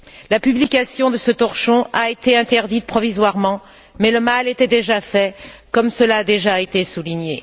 La publication de ce torchon a été interdite provisoirement, mais le mal était fait, comme cela a déjà été souligné.